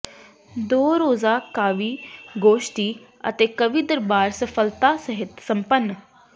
ਦੋ ਰੋਜ਼ਾ ਕਾਵਿ ਗੋਸ਼ਟੀ ਅਤੇ ਕਵੀ ਦਰਬਾਰ ਸਫ਼ਲਤਾ ਸਹਿਤ ਸੰਪਨ